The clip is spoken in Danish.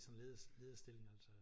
Sådan leder lederstilling altså